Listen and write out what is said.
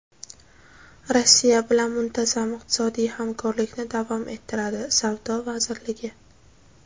Rossiya bilan muntazam iqtisodiy hamkorlikni davom ettiradi — Savdo vazirligi.